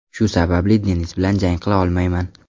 Shu sababli Denis bilan jang qila olmayman.